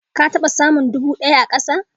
Ka taɓa samun dubu daya a kasa?